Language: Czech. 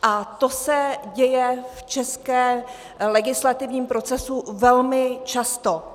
A to se děje v českém legislativním procesu velmi často.